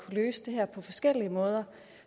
løse det her på forskellige måder